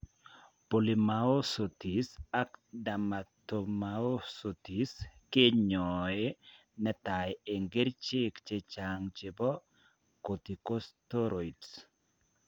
Polymyositis ak dermatomyositis kenyoee netai eng' kercheek chechang' chebo corticosteroids